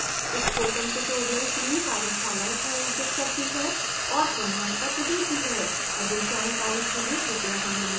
spoken tutorial team कार्यशालाएँ आयोजित करती है और प्रमाणपत्र देती है अधिक जानकारी के लिए कृपया हमें लिखें